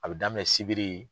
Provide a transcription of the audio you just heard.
A bɛ daminɛ Sibiri